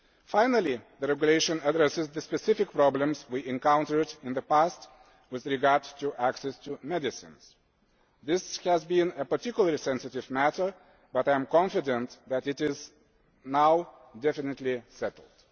Finally, the regulation addresses the specific problems we encountered in the past with regard to access to medicines. This has been a particularly sensitive matter, but I am confident that it is now definitely settled.